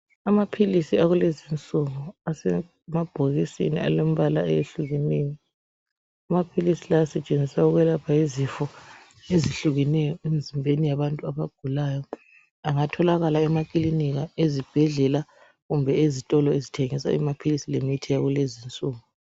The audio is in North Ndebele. Amaphilisi akulezi insuku, asemabhokisini alembala eyehlukeneyo. Amaphilisi lawa asetshenziswa ukwelapha izifo ezehlukeneyo, emzimbeni yabantu abagulayo. Angatholakala ezibhedlela, emakilinika, kanye lezitolo ezithengisa amaphilisi, emithi, yakulezi insuku.